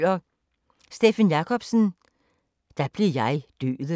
Steffen Jacobsen: Da blev jeg Døden